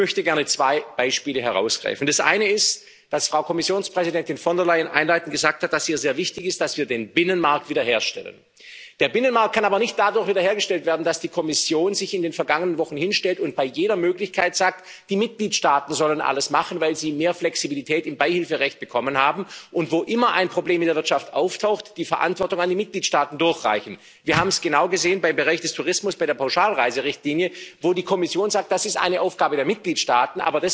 Ich möchte gerne zwei Beispiele herausgreifen Das eine ist, dass die Präsidentin der Kommission, Ursula von der Leyen, einleitend gesagt hat, dass es ihr sehr wichtig ist, dass wir den Binnenmarkt wiederherstellen. Der Binnenmarkt kann aber nicht dadurch wiederhergestellt werden, dass die Kommission sich in den vergangenen Wochen hinstellt und bei jeder Gelegenheit sagt, die Mitgliedstaaten sollen alles machen, weil sie mehr Flexibilität im Beihilferecht bekommen haben, und wo immer ein Problem in der Wirtschaft auftaucht, die Verantwortung an die Mitgliedstaaten durchreicht. Wir haben es genau gesehen im Bereich des Tourismus, bei der Pauschalreiserichtlinie, wo die Kommission sagt Das ist eine Aufgabe der Mitgliedstaaten.